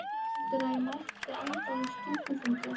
Mamma heldur að ég mæti ennþá á stúkufundi.